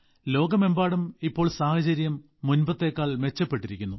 ലോകമെമ്പാടും ഇപ്പോൾ സാഹചര്യം മുമ്പത്തേക്കാൾ മെച്ചപ്പെട്ടിരിക്കുന്നു